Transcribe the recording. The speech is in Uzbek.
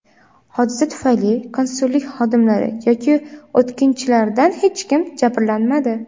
Hodisa tufayli konsullik xodimlari yoki o‘tkinchilardan hech kim jabrlanmadi.